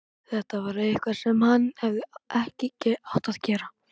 Þetta var eitthvað sem hann hefði ekki átt að gera.